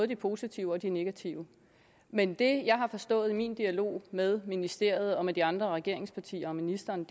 de positive og de negative men det jeg har forstået i min dialog med ministeriet og med de andre regeringspartier og ministeren